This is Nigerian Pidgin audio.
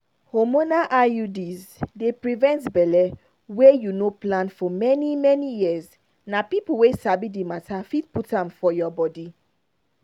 hormonal iuds dey prevent belle wey you no plan for for many-many years. na people wey sabi the matter fit put am for your body.